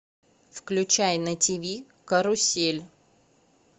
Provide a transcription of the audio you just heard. включай на тв карусель